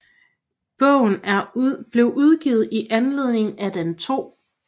Bogen blev udgivet i anledning af den 2